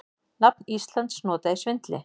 Nafn Íslands notað í svindli